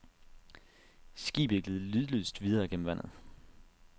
Skibet gled lydløst videre gennem vandet.